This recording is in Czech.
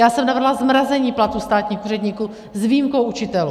Já jsem navrhla zmrazení platů státních úředníků s výjimkou učitelů.